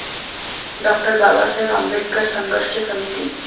डॉ. बाबासाहेब आंबेडकर संघर्ष समिती